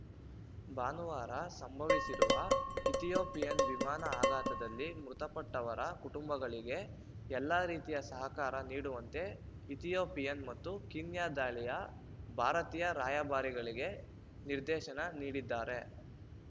ಭಾನುವಾರ ಸಂಭವಿಸಿರುವ ಇಥಿಯೋಪಿಯನ್ ವಿಮಾನ ಅಪಘಾತದಲ್ಲಿ ಮೃತಪಟ್ಟವರ ಕುಟುಂಬಗಳಿಗೆ ಎಲ್ಲಾ ರೀತಿಯ ಸಹಕಾರ ನೀಡುವಂತೆ ಇಥಿಯೋಪಿಯನ್ ಮತ್ತು ಕೀನ್ಯಾ ದಾಳಿಯ ಭಾರತೀಯ ರಾಯಭಾರಿಗಳಿಗೆ ನಿರ್ದೇಶನ ನೀಡಿದ್ದಾರೆ